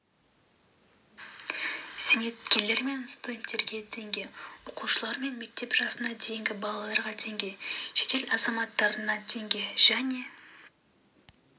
зейнеткерлер мен студенттерге теңге оқушылар мен мектеп жасына дейінгі балаларға теңге шетел азаматтарына теңге және